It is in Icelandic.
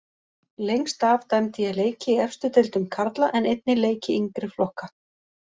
Lengst af dæmdi ég leiki í efstu deildum karla en einnig leiki yngri flokka.